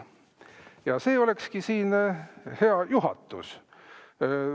Ja see olekski heale juhatusele.